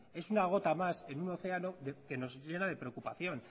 es una gota más en un oceano que nos llena de preocupación